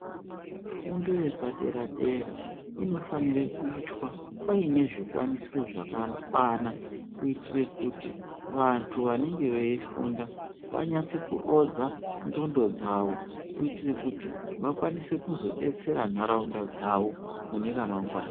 Fundo yepadera dera inofanira kuitwa paine zvikwanisiro zvakakwana kuitire kuti vanthu vanenge veifunda vanyatse kurodza ndxondo dzao kuitire kuti vakwanise kuzodetsera ntharaunda dzao mune ramangwana.